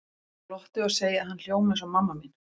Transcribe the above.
Ég glotti og segi að hann hljómi eins og mamma mín.